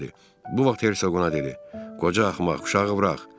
Bu vaxt Hersoq ona dedi: Qoca axmaq, uşağı burax.